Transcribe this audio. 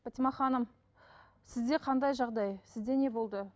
батима ханым сізде қандай жағдай сізде не болды